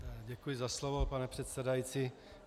Děkuji za slovo, pane předsedající.